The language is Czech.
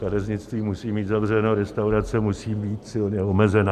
Kadeřnictví musí mít zavřeno, restaurace musí být silně omezena.